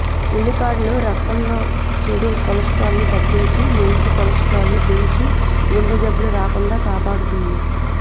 ఉల్లికాడలు రక్తంలో చెడు కొలస్ట్రాల్ ని తగ్గించి మంచి కొలస్ట్రాల్ ని పెంచి గుండె జబ్బులు రాకుండా కాపాడుతుంది